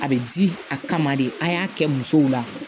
A bɛ di a kama de a y'a kɛ musow la